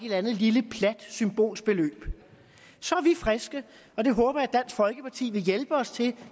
eller andet lille plat symbolsk beløb er vi friske og det håber jeg at dansk folkeparti vil hjælpe os til